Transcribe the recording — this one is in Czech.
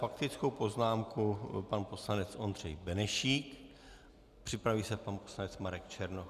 Faktickou poznámku pan poslanec Ondřej Benešík, připraví se pan poslanec Marek Černoch.